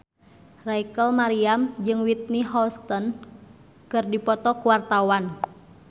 Rachel Maryam jeung Whitney Houston keur dipoto ku wartawan